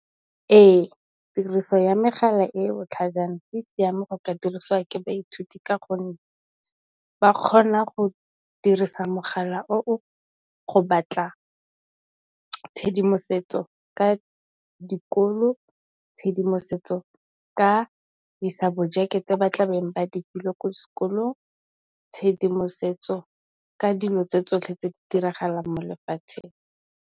Ee tiriso ya megala e botlhajana e siame go ka diriswa ke baithuti ka gonne ba kgona go dirisa mogala oo go batla tshedimosetso ka dikolo, tshedimosetso ka di sabojeke tse ba tla be ba di buile kwa sekolong, tshedimosetso ka dilo tse tsotlhe tse di diragalang mo lefatsheng.